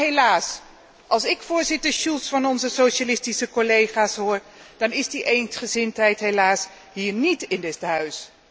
Maar helaas, als ik voorzitter Schulz van onze socialistische collega's hoor, dan is die eensgezindheid niet hier in dit Huis.